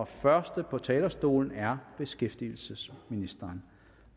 første på talerstolen er beskæftigelsesministeren